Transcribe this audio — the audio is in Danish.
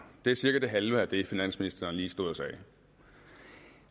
det er cirka det halve af det finansministeren lige stod og sagde